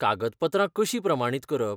कागदपत्रां कशीं प्रमाणीत करप?